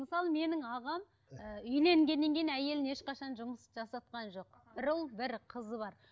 мысалы менің ағам ыыы үйленгеннен кейін әйеліне ешқашан жұмыс жасатқан жоқ бір ұл бір қызы бар